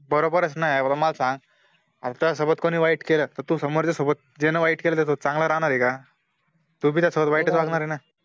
बरोबरच ना एवढं मला सांग, हर्षा सोबत कोणी वाईट केलं तर तू समोरच्या सोबत ज्यानं वाईट केला त्या सोबत चांगला राहणार ए का, तूबी त्या सोबत वाईटच वागणार ए ना